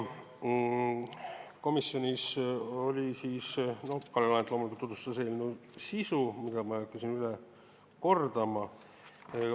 Komisjonis Kalle Laanet loomulikult tutvustas eelnõu sisu, mida ma ei hakka üle kordama.